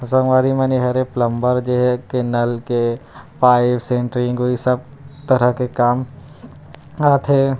असं वेयर मैंने हर एक प्लम्बर जे के नल के पाइप सेंट्रिंग के इ सब तरह के काम आथे।